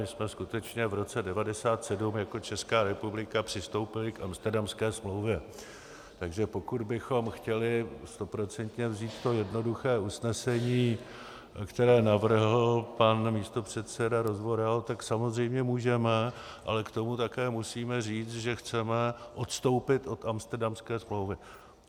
My jsme skutečně v roce 1997 jako Česká republika přistoupili k Amsterdamské smlouvě, takže pokud bychom chtěli stoprocentně vzít to jednoduché usnesení, které navrhl pan místopředseda Rozvoral, tak samozřejmě můžeme, ale k tomu také musíme říct, že chceme odstoupit od Amsterdamské smlouvy.